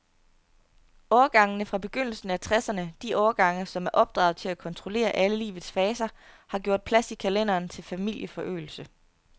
Årgangene fra begyndelsen af tresserne, de årgange, som er opdraget til at kontrollere alle livets faser, har gjort plads i kalenderen til familieforøgelse.